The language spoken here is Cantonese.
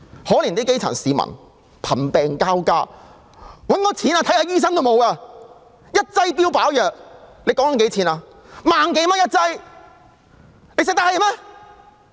可憐基層市民，貧病交加，沒有錢求醫，萬多元一劑的標靶藥，他們負擔得起嗎？